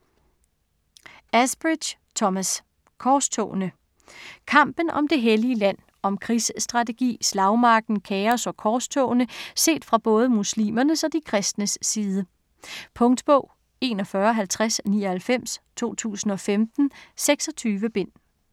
Asbridge, Thomas: Korstogene Kampen om det hellige land. Om krigsstrategi, slagmarken, kaos og korstogene set fra både muslimernes og de kristnes side. Punktbog 415099 2015. 26 bind.